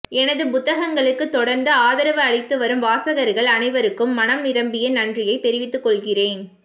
எனது புத்தகங்களுக்குத் தொடர்ந்து ஆதரவு அளித்து வரும் வாசகர்கள் அனைவருக்கும் மனம் நிரம்பிய நன்றியைத் தெரிவித்துக் கொள்கிறேன்